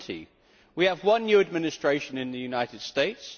20. We have one new administration in the United States.